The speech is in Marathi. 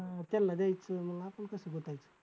अं त्यांला द्यायचं मग आपण कसं